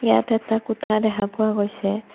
ইয়াত এটা কোঠা দেখা পোৱা গৈছে।